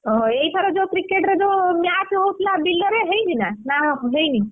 ଓହୋ ଏଇଥର ଯୋଉ cricket ରେ ଯୋଉ match ହଉଥିଲା ବିଲରେ ହେଇଛି ନା? ନା ହେଇନି?